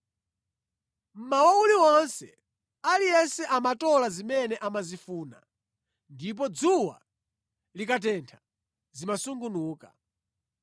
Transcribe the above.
Mmawa uliwonse aliyense amatola zimene amazifuna, ndipo dzuwa likatentha zimasungunuka.